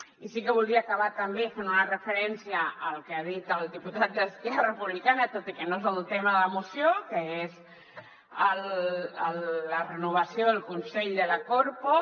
i sí que voldria acabar també fent una referència al que ha dit el diputat d’esquer·ra republicana tot i que no és el tema de la moció que és la renovació del consell de la corpo